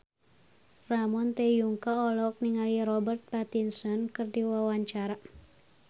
Ramon T. Yungka olohok ningali Robert Pattinson keur diwawancara